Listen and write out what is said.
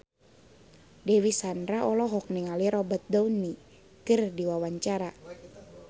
Dewi Sandra olohok ningali Robert Downey keur diwawancara